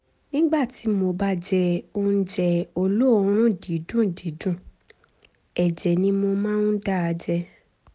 nígbà tí mo bá jẹ oúnjẹ olóòórùn dídùn dídùn ẹ̀jẹ̀ ni mo máa ń dà jáde